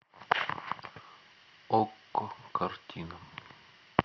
окко картина